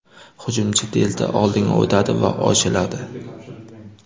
Hujumchi tezda oldinga o‘tadi va ochiladi.